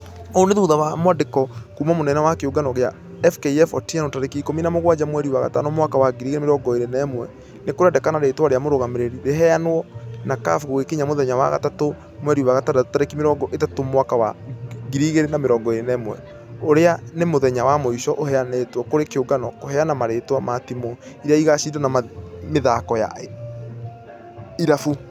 Ũũ nĩ thutha wa mwandĩko kuuma mũnene wa kĩũngano gĩa fkf otieno, tarĩki ikũmi na mũgwaja mweri wa gatano mwaka wa 2021 . Nĩkũrendekana rĩtwa rĩa mũrũgamĩrĩri rĩheanwo na caf gũgĩkinya mũthenya wa gatatũ mweri wa gatandatũ tarĩki mĩrongo ĩtatũ mwaka wa 2021 . ũrĩa nĩ mũthenya wamũisho ũhĩanĩtwo kũrĩ kĩũngano kũheana marĩtwa ma timũ iria ĩgashidana mĩthako ya irabu.